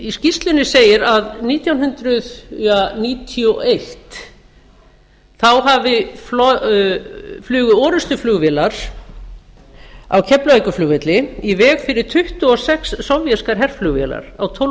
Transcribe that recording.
í skýrslunni segir að nítján hundruð níutíu og eitt flugu orrustuflugvélar á keflavíkurflugvelli í veg fyrir tuttugu og sex sovéskar herflugvélar á tólf